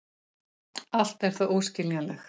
Allt er það óskiljanlegt.